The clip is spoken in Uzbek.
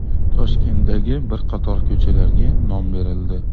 Toshkentdagi bir qator ko‘chalarga nom berildi.